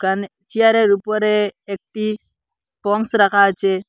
এখানে চেয়ারের উপরে একটি পন্স রাখা আছে।